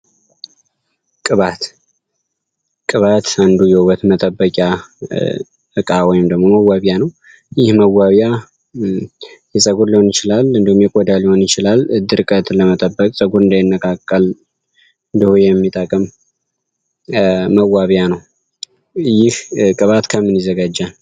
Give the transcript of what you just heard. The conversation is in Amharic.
ቅባት ቅባቴ ውበት መጠበቂያ አንዱ እቃ ወይም መዋቢያ ነው የፀጉር ሊሆን ይችላል ወይም ደግሞ የቆዳ ሊሆን ይችላል ድርቀት ለመጠበቅ ፀጉር እንዳይነቃቀል የሚያደርግ የሚጠቅም መዋቢያ ነው። ይህ ቅባት ከምን ይዘጋጃል?